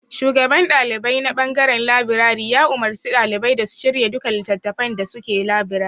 Shugaban ɗalibai na ɓangaren labirari ya umarci ɗalibai da su shirya duka littattafan da suke labirarin.